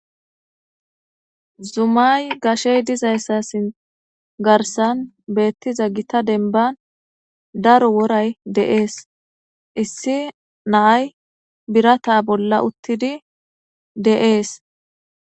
Zumay gashey dizaysa garsan beetiza gitta dembani daro woray de'es . Issi na'ay birata bolla utidi de'es.